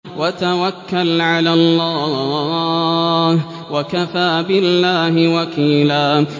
وَتَوَكَّلْ عَلَى اللَّهِ ۚ وَكَفَىٰ بِاللَّهِ وَكِيلًا